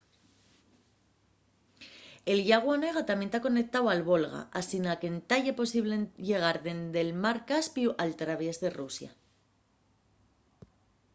el llagu onega tamién ta conectáu al volga asina qu’entá ye posible llegar dende’l mar caspiu al traviés de rusia